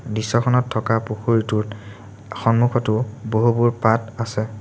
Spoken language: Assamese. দৃশ্যখনত থকা পুখুৰীটোত সন্মুখটো বহু বহু পাত আছে।